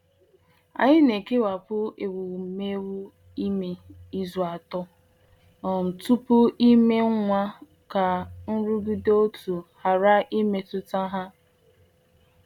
Anyị na-ekewapụ ewumewụ ime izu atọ um tupu ime nwa ka nrụgide òtù ghara imetụta ha.